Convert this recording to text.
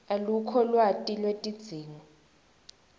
alukho lwati lwetidzingo